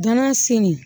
Dɔnna senni